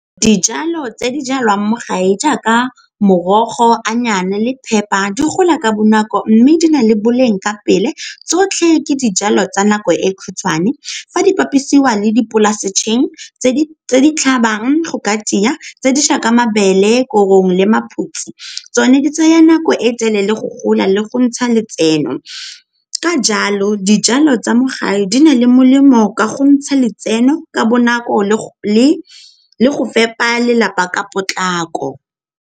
Dijalo tse di jalwang mo gae jaaka morogo, le papper di gola ka bonako mme di na le boleng ka pele tsotlhe ke dijalo tsa nako e khutshwane fa di bapisiwa le di tse di tlhabang go ka tia tse di jaaka mabele, korong le maphutsi. Tsone di tsaya nako e telele go gola le go ntsha letseno, ka jalo dijalo tsa mo gae di na le molemo ka go ntsha letseno ka bonako le go fepa lelapa ka potlako.